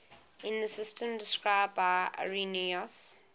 in the system described by irenaeus